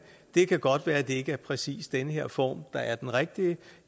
det kan godt være det ikke er præcis den her form der er den rigtige